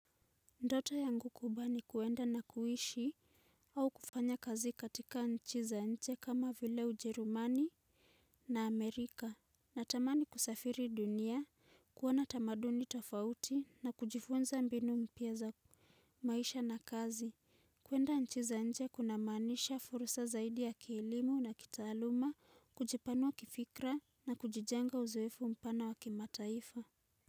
Ndoto yangu kubwa ni kuenda na kuishi au kufanya kazi katika nchi za nje kama vile ujerumani na amerika natamani kusafiri dunia kuona tamaduni tafauti na kujifunza mbinu mpya za maisha na kazi kuenda nchi za nje kuna maanisha fursa zaidi ya kiilimo na kitaaluma kujipanua kifikra na kujijenga uzoefu mpana waki mataifa.